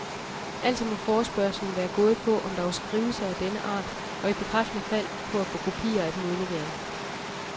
Altså må forespørgslen være gået på, om der var skrivelser af denne art, og i bekræftende fald på at få kopier af dem udleveret.